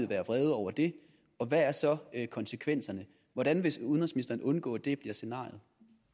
være vrede over det og hvad er så konsekvenserne hvordan vil udenrigsministeren undgå at det bliver scenariet